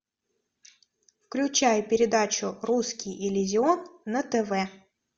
включай передачу русский иллюзион на тв